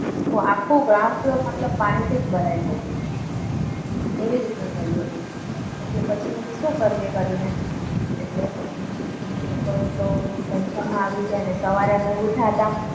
તો આખું ground floor મતલબ પાણીથી જ ભરાઈ ગયો. એવી રીતના થયું હતું એટલે પછી અમે શું કરીએ કરીને એટલે પછી અમે તો ટેન્શનમાં આવી ગયા. ને સવારે અમે ઉઠ્યાતા.